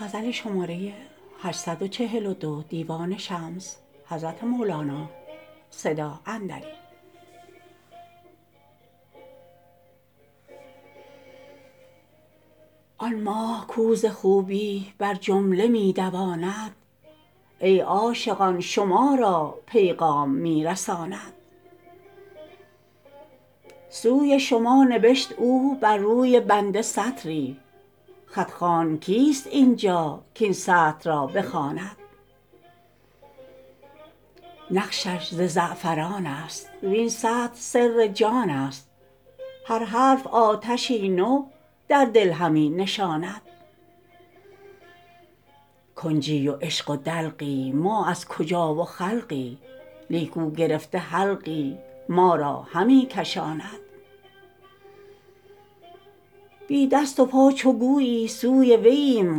آن ماه کو ز خوبی بر جمله می دواند ای عاشقان شما را پیغام می رساند سوی شما نبشت او بر روی بنده سطری خط خوان کیست این جا کاین سطر را بخواند نقشش ز زعفران است وین سطر سر جانست هر حرف آتشی نو در دل همی نشاند کنجی و عشق و دلقی ما از کجا و خلقی لیک او گرفته حلقی ما را همی کشاند بی دست و پا چو گویی سوی وییم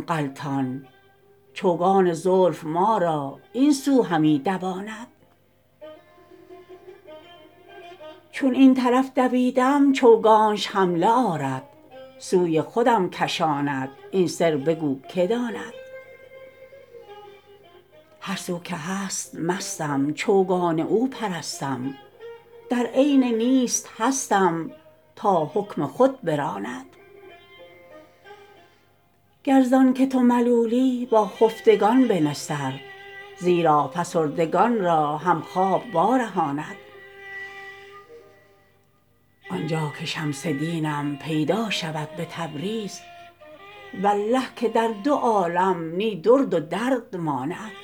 غلطان چوگان زلف ما را این سو همی دواند چون این طرف دویدم چوگانش حمله آرد سوی خودم کشاند این سر بگو کی داند هر سو که هست مستم چوگان او پرستم در عین نیست هستم تا حکم خود براند گر زانک تو ملولی با خفتگان بنه سر زیرا فسردگان را هم خواب وارهاند آن جا که شمس دینم پیدا شود به تبریز والله که در دو عالم نی درد و درد ماند